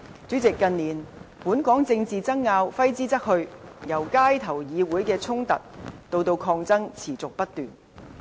主席，近年本港政治爭拗揮之不去，由街頭到議會的衝突以至抗爭持續不斷。